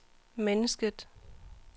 mennesket